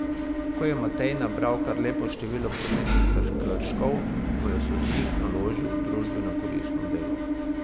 Ko je Matej nabral kar lepo število prometnih prekrškov, mu je sodnik naložil družbenokoristno delo.